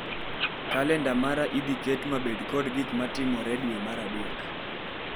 Kalenda mara idhi ket mabed kod gik matimore e dwe mar adek mag rccg